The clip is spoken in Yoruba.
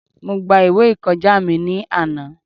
Mo gba ìwé ìkọjá mi ní àná.